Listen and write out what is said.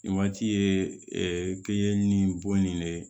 Nin waati ye ɛɛ kɛɲɛ ni bon in de ye